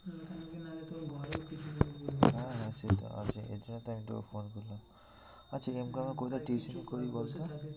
না না সে তো এর জন্য তো আমি তোকে phone করলাম। কোথায় tuition ই করবি বলতো?